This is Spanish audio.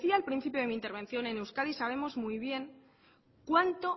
decía al principio de mi intervención en euskadi sabemos muy bien cuánto